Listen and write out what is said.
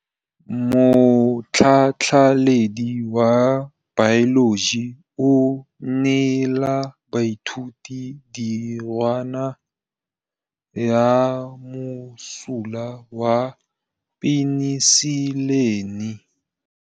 Motlhatlhaledi wa baeloji o neela baithuti tirwana ya mosola wa peniselene.